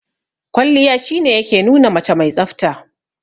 Kwalliya shi ne ya ke nuna mace mai tsafta.